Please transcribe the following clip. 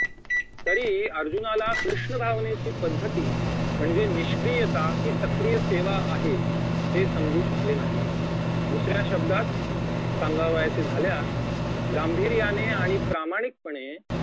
तरीही अर्जुनाला कृष्ण भावनेची पद्धती म्हणजे निष्क्रियता ही सक्रिय सेवा आहे हे समजू शकले नाही दुसऱ्या शब्दात सांगावयाचे झाल्यास गांभीर्याने आणि प्रामाणिकपणे